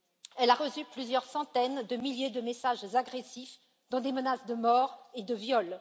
Elle a reçu plusieurs centaines de milliers de messages agressifs, dont des menaces de mort et de viol.